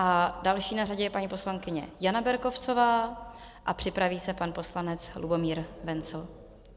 A další na řadě je paní poslankyně Jana Berkovcová a připraví se pan poslanec Lubomír Wenzl.